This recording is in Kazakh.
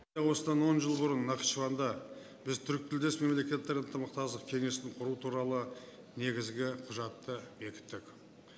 осыдан он жыл бұрын нахчыванда біз түркітілдес мемлекеттер ынтымақтастық кеңесін құру туралы негізгі құжатты бекіттік